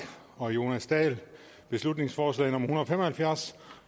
og jonas dahl beslutningsforslag en hundrede og fem og halvfjerds